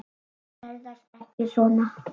Þær ferðast ekki svona.